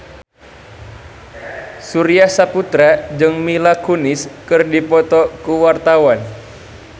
Surya Saputra jeung Mila Kunis keur dipoto ku wartawan